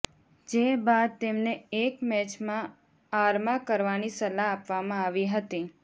જે બાદ તેમને એક મેચમાં આરમાં કરવાની સલાહ આપવામાં આવી હતી